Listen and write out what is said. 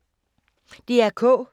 DR K